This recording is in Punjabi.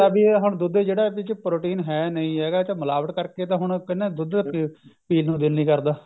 ਵੀ ਇਹ ਹੁਣ ਦੁੱਧ ਜਿਹੜਾ ਇਹਦੇ ਚ protein ਹੈ ਨਹੀਂ ਹੈਗਾ ਇਹ ਮਿਲਾਵਟ ਕਰਕੇ ਤਾਂ ਹੁਣ ਦੁੱਧ ਪੀਣ ਨੂੰ ਦਿਲ ਨਹੀਂ ਕਰਦਾ